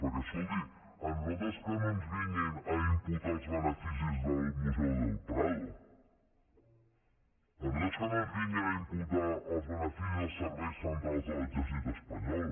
perquè escolti a nosaltres que no ens vinguin a imputar els beneficis del museu del prado a nosaltres que no ens vinguin a imputar els beneficis dels serveis centrals de l’exèrcit espanyol